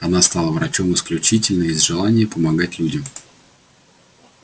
она стала врачом исключительно из желания помогать людям